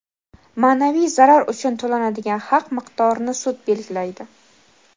Maʼnaviy zarar uchun to‘lanadigan haq miqdorini sud belgilaydi.